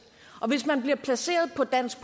og hvis man bliver placeret på dansk